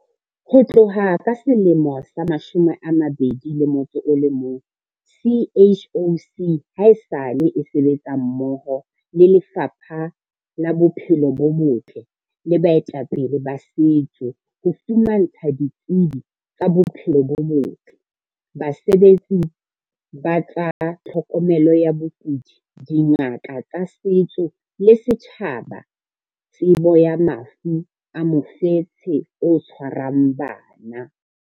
Ho tloha ka selemo sa 2011, CHOC haesale e sebetsa mmoho le Lefapha la Bophelo bo Botle le baetapele ba setso ho fumantsha ditsebi tsa bophelo bo botle, basebetsi ba tsa tlhokomelo ya bakudi, dingaka tsa setso le setjhaba tsebo ya mafu a mofetshe o tshwarang bana.